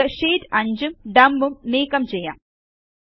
നമുക്ക് ഷീറ്റ്സ് 5ഉം ഡംപ് ഉം നീക്കം ചെയ്യാം